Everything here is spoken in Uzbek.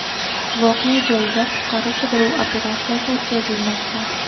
Voqea joyida qutqaruv-qidiruv operatsiyasi o‘tkazilmoqda.